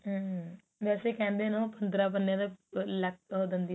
ਹਮ ਵੇਸੇ ਕਹਿੰਦੇ ਨੇ ਉਹ ਪੰਦਰਾਂ ਬੰਦਿਆਂ ਦਾ ਲੱਕ ਉਹ ਦਿੰਦੀ